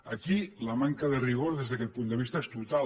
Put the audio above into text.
aquí la manca de rigor des d’aquest punt de vista és total